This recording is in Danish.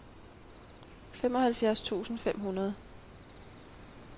femoghalvfjerds tusind fem hundrede